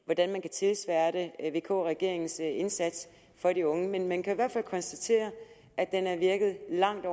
hvordan man kan tilsværte vk regeringens indsats for de unge men man kan i hvert fald konstatere at den har virket langt